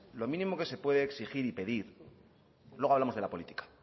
lo mínimo que se puede exigir y pedir luego hablamos de la política